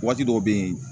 Waati dɔw be yen